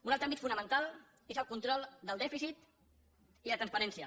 un altre àmbit fonamental és el control del dèficit i de transparència